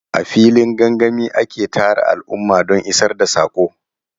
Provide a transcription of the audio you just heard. A filin gangami ake tara al'umma don isar da saƙo.